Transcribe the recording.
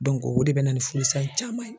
o de bɛ na ni furusa in caman ye